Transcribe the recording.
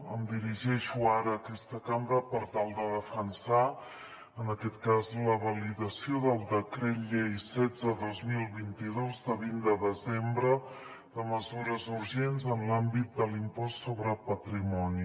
em dirigeixo ara a aquesta cambra per tal de defensar en aquest cas la validació del decret llei setze dos mil vint dos de vint de desembre de mesures urgents en l’àmbit de l’impost sobre patrimoni